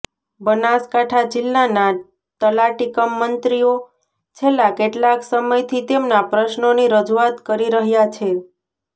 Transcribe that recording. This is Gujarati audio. બનાસકાંઠા જિલ્લાના તલાટી કમ મંત્રીઓ છેલ્લા કેટલાક સમયથી તેમના પ્રશ્નો ની રજુઆત કરી રહ્યા છે